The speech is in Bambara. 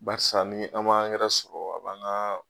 Barisa ni an ma sɔrɔ a b'an ka.